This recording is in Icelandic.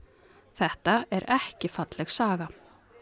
þetta er ekki falleg saga